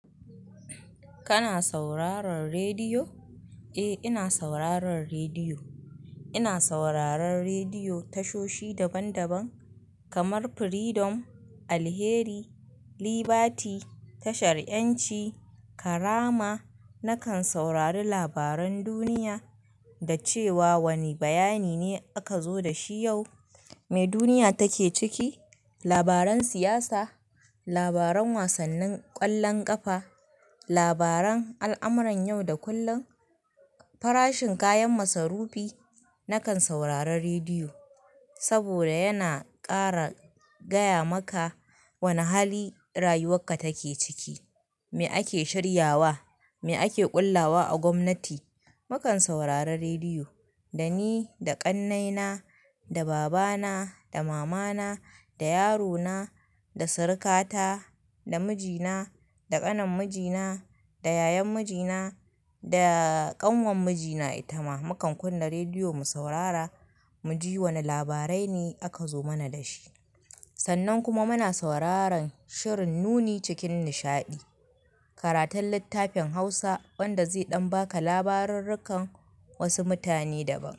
Kana sauraron rediyo? Eh, ina sauraron rediyo. Ina sauraron rediyo tashoshi daban daban kamar Freedom, Alheri, Liberty, tashar 'Yanci, Karama. Nakan saurari labaran duniya da cewa wane bayani ne aka zo da shi yau, me duniya take ciki, labaran siyasa, labaran wasannin ƙwallon ƙafa, labaran al'amuran yau da kullum, farashin kayan masarufi. Nakan saurari rediyo saboda yana ƙara gaya maka wane hali rayuwarka take ciki, me ake shiryawa, me ake ƙullawa a gwamnati. Mukan saurari rediyo da ni, da ƙannaina, da babana, da mamana, da yarona, da surukata, da mijina, da ƙanin mijina, da yayan mijina, da ƙanwar mijina, ita ma. Mukan kunna rediyo mu saurara, mu ji wane labarai ne aka zo mana da shi. Sannan kuma muna sauraron shirin Nuni cikin nishaɗi, karatun littafin Hausa wanda zai ɗan baka labarurrukan wasu mutane daban.